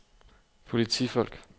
politifolk